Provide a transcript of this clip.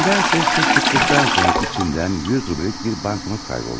Amma nədənsə siz çıxdıqdan sonra içindən 100 rubllik bir banknot qayboldu.